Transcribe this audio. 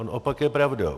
On opak je pravdou.